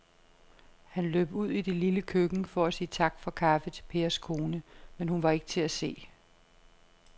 Han løb ud i det lille køkken for at sige tak for kaffe til Pers kone, men hun var ikke til at se.